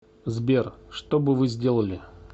сбер что бы вы сделали